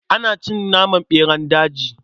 Ana cin naman ɓeran daji.